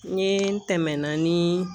N ye n tɛmɛna ni